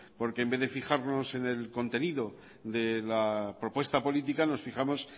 porque en vez de fijarnos en el contenido de la propuesta política nos fijamos